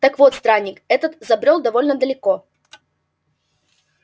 так вот странник этот забрёл довольно далеко